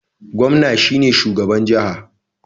Gomna shine shugaban jaha